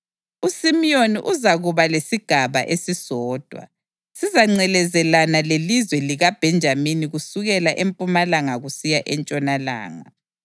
USimiyoni uzakuba lesigaba esisodwa; sizangcelezelana lelizwe likaBhenjamini kusukela empumalanga kusiya entshonalanga.